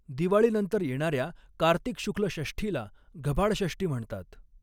दिवाळीनंतर येणाऱ्या कार्तिक शुक्ल षष्ठीला घबाडषष्ठी म्हणतात.